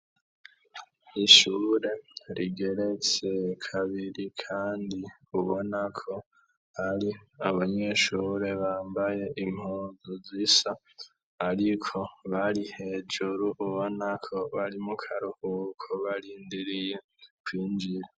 Ishure rigeretse kabiri kandi ubonako hari abanyeshure bambaye impuzu zisa, ariko bari hejuru ubonako bari mu karuhuko barindiriye kwinjira.